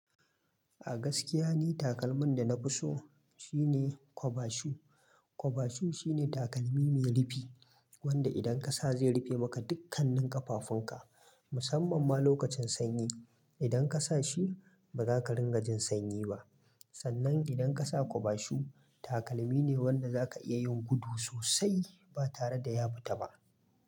A gaskiya ni takalmin da na fi so shine kwaba shu. Kwaba shu shine takalmi mai rufi, wanda idan ka sa zai rufe maka dukkanin ƙafafunka, musamman ma lokacin sanyi. Idan ka sa shi, ba za ka ringa jin sanyi ba. Sannan, idan ka sa kwaba shu, takalmi ne wanda zaka iya yin gudu sosai ba tare da ya fita ba.